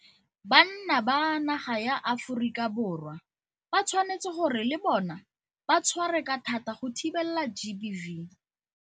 Banna ba naga ya Aforika Borwa ba tshwanetse gore le bona ba tshware ka thata go thibela GBV.